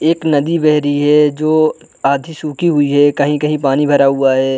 एक नदी बह रही है जो आधी सुखी हुई है कहीं-कहीं पानी भरा हुआ हैं ।